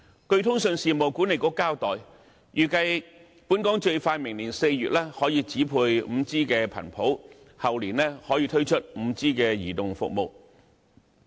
據通訊事務管理局交代，預計本港最快明年4月可以指配 5G 頻譜，後年可以推出 5G 移動服務。